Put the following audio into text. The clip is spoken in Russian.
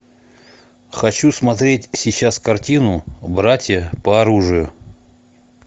хочу смотреть сейчас картину братья по оружию